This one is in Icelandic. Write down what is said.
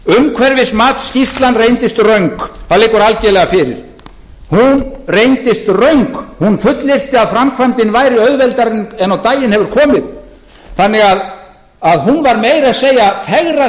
upphæðir umhverfismatsskýrslan reyndist röng það liggur algerlega fyrir hún reyndist röng hún fullyrti að framkvæmdin væri auðveldari en á daginn hefur komið þannig að hún meira að segja fegraði